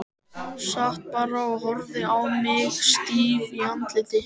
Sat bara og horfði á mig stíf í andliti.